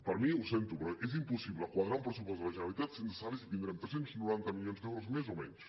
per mi ho sento però és impossible quadrar un pressupost de la generalitat sense saber si tindrem tres cents i noranta milions d’euros més o menys